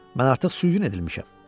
Mən artıq sürgün edilmişəm.